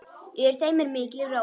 Yfir þeim er mikil ró.